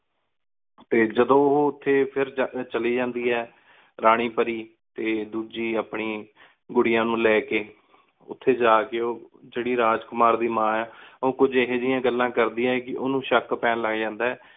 ਤੇ ਜਦੋ ਉਹ ਉਥੇ ਫੇਰ ਚਲੀ ਜੰਡੀ ਆਯ ਰਾਨੀ ਪਰੀ ਤੇ ਦੂਜੀ ਆਪਣੀ ਗੁਡੀਆਂ ਨੂੰ ਲੀ ਕੇ। ਉਥੇ ਜਾ ਕੀ ਓ ਜੇਹੜੀ ਰਾਜ ਕੁਮਾਰ ਦੀ ਮਾ ਆ, ਓ ਕੁਛ ਇਹੋ ਜੀਆਂ ਗੱਲਾਂ ਕਰ ਦੀਆ ਕਿ ਓਹਨੂੰ ਸ਼ਕ ਪੈਣ ਲਘ ਜਾਂਦਾ ਆਯ